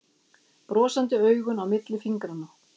Brosandi augun á milli fingranna.